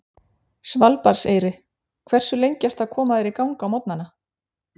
Svalbarðseyri Hversu lengi ertu að koma þér í gang á morgnanna?